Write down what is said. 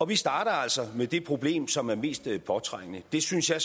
vi starter altså med det problem som er mest påtrængende jeg synes at